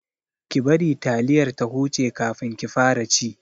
Ki bari taliyar ta huce kafin ki fara ci!